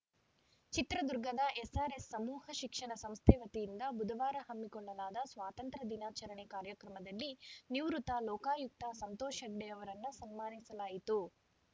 ಚಿತ್ರದುರ್ಗದ ಎಸ್‌ಆರ್‌ಎಸ್‌ ಸಮೂಹ ಶಿಕ್ಷಣ ಸಂಸ್ಥೆ ವತಿಯಿಂದ ಬುಧವಾರ ಹಮ್ಮಿಕೊಳ್ಳಲಾದ ಸ್ವಾತಂತ್ರ್ಯ ದಿನಾಚರಣೆ ಕಾರ್ಯಕ್ರಮದಲ್ಲಿ ನಿವೃತ್ತ ಲೋಕಾಯುಕ್ತ ಸಂತೋಷ್‌ ಹೆಗ್ಡೆ ಅವರನ್ನು ಸನ್ಮಾನಿಸಲಾಯಿತು